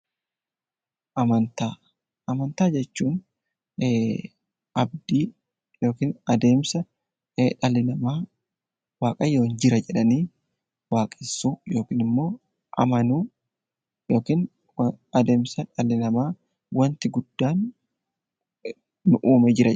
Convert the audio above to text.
Amantaa jechuun abdii yookiin adeemsa dhalli namaa waaqayyo jira jedhanii waaqessuu yookaan immoo yookaan amanuu jechuudha.